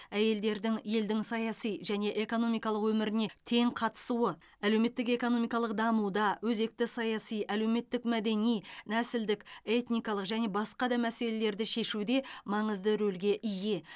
әйелдердің елдің саяси және экономикалық өміріне тең қатысуы әлеуметтік экономикалық дамуда өзекті саяси әлеуметтік мәдени нәсілдік этникалық және басқа да мәселелерді шешуде маңызды рөлге ие